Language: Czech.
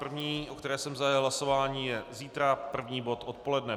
První, o které jsem zahájil hlasování, je zítra první bod odpoledne.